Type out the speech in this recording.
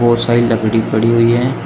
बहुत सारी लकड़ी पड़ी हुई है।